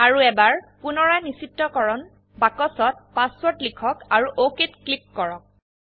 আৰু এবাৰ পুনৰায় নিশ্চিতকৰণ বাক্সত পাসওয়াৰ্ড লিখক আৰু OKত ক্লিক কৰক